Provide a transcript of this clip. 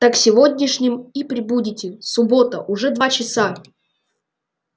так сегодняшним и прибудете суббота уже два часа